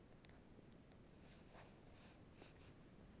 Heimir: Ekki búið að upplýsa það kannski, eða?